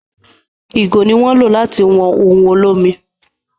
ìgò ni wón lo lati wọn òun olomi